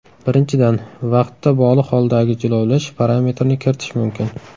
Birinchidan, vaqtda bog‘liq holdagi jilovlash parametrini kiritish mumkin.